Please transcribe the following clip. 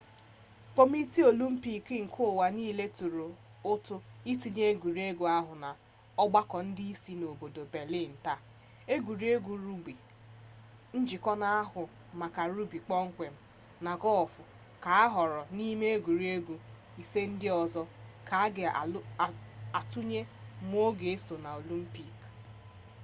kọmitii olimpik nke ụwa niile tụrụ ụtụ itinye egwuregwu ahụ n'ọgbakọ ndị isi ha n'obodo belịn taa egwuregwu rugbi njikọ n'ahụ maka rugbi kpọmkwem na gọlf ka ahọọrọ n'ime egwuregwu ise ndị ọzọ ka a ga atụle ma ọ ga eso na olimpik